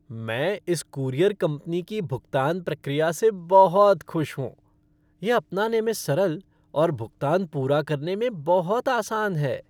मैं इस courier company की भुगतान प्रक्रिया से बहुत खुश हूँ। यह अपनाने में सरल और भुगतान पूरा करने में बहुत आसान है।